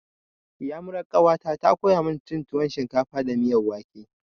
Iyamuran ƙawata ta koya cin tuwon shinkafa da miyan wake.